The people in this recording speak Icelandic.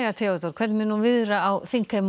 Theodór hvernig mun viðra á þingheim og